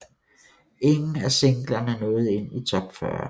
Ingen af singlerne nåede ind i top 40